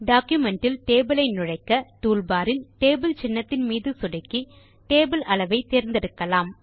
document இல் table ஐ நுழைக்க டூல் பார் இல் டேபிள் சின்னத்தின் மீது சொடுக்கி டேபிள் அளவை தேர்ந்தெடுக்கலாம்